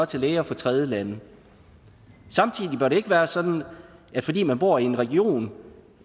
til læger fra tredjelande samtidig bør det ikke være sådan at fordi man bor i en region